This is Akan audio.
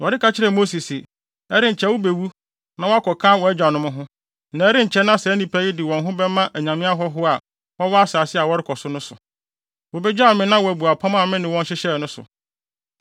Awurade ka kyerɛɛ Mose se, “Ɛrenkyɛ wubewu na woakɔka wʼagyanom ho, na ɛrenkyɛ na saa nnipa yi de wɔn ho bɛma anyame hɔho a wɔwɔ asase a wɔrekɔ so no so no. Wobegyaw me na wɔabu apam a me ne wɔn hyehyɛɛ no so.